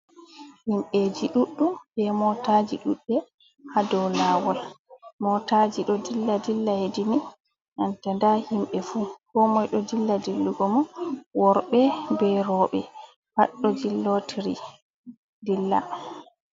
Himɓeji ɗuɗɗum be motaji ɗuɗɗe ha dou lawol. Motaji ɗo dilla-dilla yedi ni, nanta nda himɓe fu. Komoi ɗo dilla dillugo mum. Worbe be rowɓe pat ɗo jillotiri dilla.